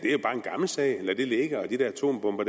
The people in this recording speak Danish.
gammel sag lad det ligge de der atombomber